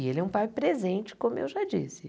E ele é um pai presente, como eu já disse.